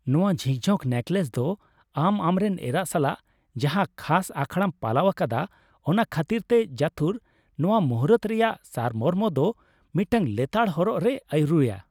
ᱱᱚᱶᱟ ᱡᱷᱤᱠᱡᱷᱚᱠ ᱱᱮᱠᱞᱮᱥ ᱫᱚ ᱟᱢ ᱟᱢᱨᱮᱱ ᱮᱨᱟ ᱥᱟᱞᱟᱜ ᱡᱟᱦᱟᱸ ᱠᱷᱟᱥ ᱟᱠᱷᱲᱟᱢ ᱯᱟᱞᱟᱣ ᱟᱠᱟᱫᱟ ᱚᱱᱟ ᱠᱷᱟᱹᱛᱤᱨᱛᱮ ᱡᱚᱛᱷᱩᱨ, ᱱᱚᱶᱟ ᱢᱩᱦᱩᱨᱛᱚ ᱨᱮᱭᱟᱜ ᱥᱟᱨᱢᱚᱨᱢᱚ ᱫᱚ ᱢᱤᱫᱴᱟᱝ ᱞᱮᱛᱟᱲ ᱦᱚᱨᱚᱜ ᱨᱮᱭ ᱟᱹᱨᱩᱭᱟ ᱾